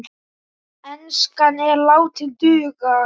Enskan er látin duga.